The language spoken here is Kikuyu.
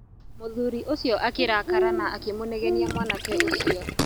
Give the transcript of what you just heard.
Mũthuri ũcio akirakara na akĩmũnegenia mwanake ũcio.